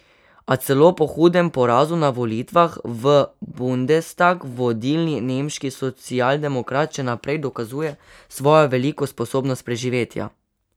A celo po hudem porazu na volitvah v bundestag vodilni nemški socialdemokrat še naprej dokazuje svojo veliko sposobnost preživetja.